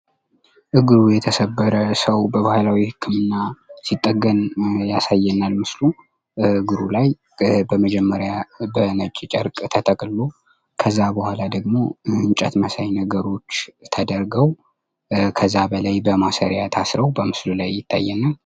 እግሩ የተሰበረ ሰዉ በባህላዊ ህክምና ሲጠገን ያሳየናን ምስሉ። እግሩ ላይ በመጀመሪያ በነጭ ጨርቅ ተጠቅልሎ ከዚያ በኋላ ደግሞ እንጨት መሳይ ነገሮች ተደርገዉ ከዛ በላይ በማሰሪያ ታስረዉ በምስሉ ያሳየናል።